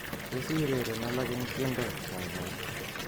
Tos iureren alak eng tiendo kaikai